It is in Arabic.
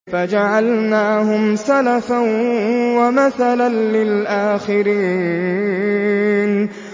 فَجَعَلْنَاهُمْ سَلَفًا وَمَثَلًا لِّلْآخِرِينَ